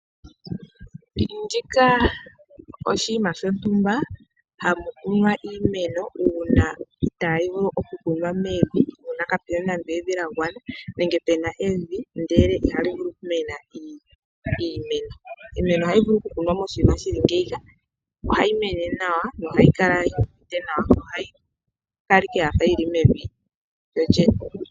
Ndjika oshiima shontumba hamu kunwa iimeno una itayi vulu oku kunwa mevi una kaapena nande evi lyagwana. Nenge pena evi ndele ihali vulu oku mena iimeno. Iimeno ohayi vulu oku kunwa moshinima shili ngeyika. Ohayi mene nawa no hayi kala yu uvite nawa. Ohayi kala ike tafa yili mevi.